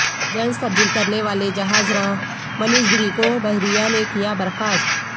جنس تبدیل کرنے والے جہاز راں منیش گری کو بحریہ نے کیا برخاست